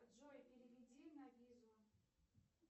джой переведи на визу